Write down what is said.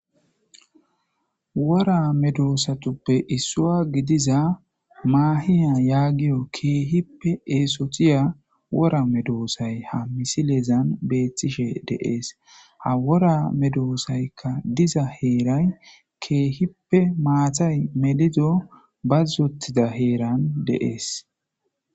wora medoosatuppe issuwa gidiza maahiya yaagiyo ke'ihippe eesotiya wora medoosay ha misileezan beettshishe de'ees ha wora medoosaykka diza heeray ke'ihippe maatay meliddo bazottida heeran de'ees